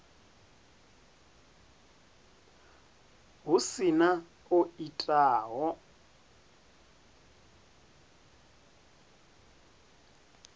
hu si na o itaho